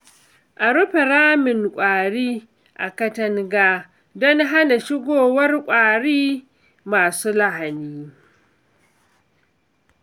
A rufe ramin kwari a katanga don hana shigowar kwari masu lahani.